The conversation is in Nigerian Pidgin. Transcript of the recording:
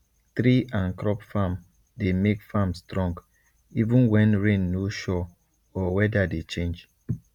tree and crop farm dey make farm strong even when rain no sure or weather dey change